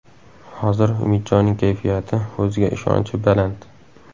Hozir Umidjonning kayfiyati, o‘ziga ishonchi baland”.